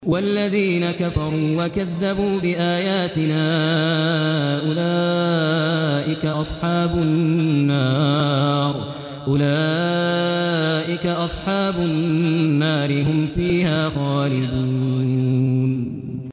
وَالَّذِينَ كَفَرُوا وَكَذَّبُوا بِآيَاتِنَا أُولَٰئِكَ أَصْحَابُ النَّارِ ۖ هُمْ فِيهَا خَالِدُونَ